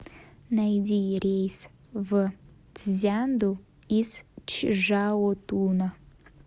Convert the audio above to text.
найди рейс в цзянду из чжаотуна